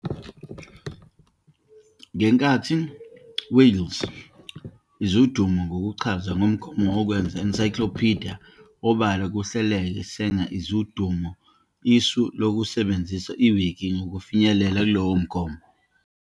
Ngenkathi Wales is udumo ngokuchaza umgomo wokwenza encyclopedia obala kuhleleke, Sanger is udumo isu lokusebenzisa Wiki ukufinyelela lowo mgomo.